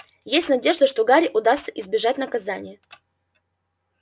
есть надежда что гарри удастся избежать наказания